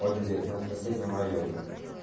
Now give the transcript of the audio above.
вот здесь на соседнем районе